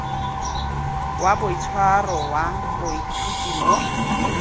wa boitshwaro wa baithuti mo